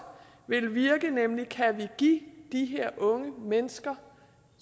vil virke nemlig at give de her unge mennesker